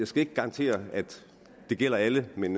skal ikke garantere at det gælder alle men